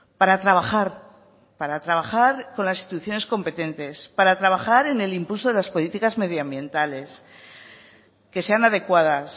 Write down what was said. para trabajar para trabajar con las instituciones competentes para trabajar en el impulso de las políticas medio ambientales que sean adecuadas